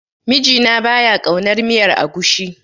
Mijina ba ya ƙaunar miyar agushi.